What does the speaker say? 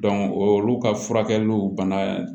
o olu ka furakɛliw bana